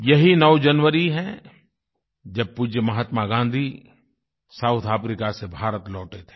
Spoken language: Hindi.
यही 9 जनवरी है जब पूज्य महात्मा गाँधी साउथ अफ्रीका से भारत लौटे थे